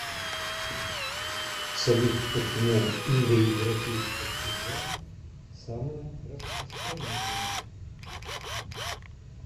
салют почему индоевропейская семья самая распространенная